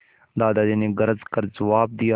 दादाजी ने गरज कर जवाब दिया